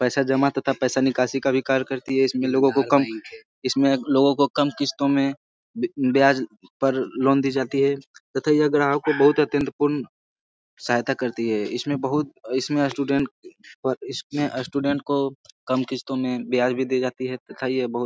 पैसा जमा तथा पैसा निकासी का भी कार्य करती है और लोगों को कम इसमें लोगों को कम किस्तों में ब-ब्याज पर लोन दी जाती है। तथा यह ग्राहकों को बहुत अत्यंत पूर्ण सहायता करती है। इसमें बहुत इसमें स्टूडेंट्स इसमें अ स्टूडेंट को कम किस्तों में ब्याज भी दिया जाती है। तथा यह बहुत--